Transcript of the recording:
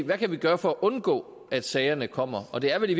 hvad vi kan gøre for at undgå at sagerne kommer og det er vel i